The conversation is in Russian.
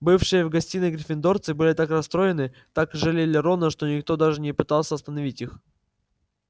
бывшие в гостиной гриффиндорцы были так расстроены так жалели рона что никто даже не пытался остановить их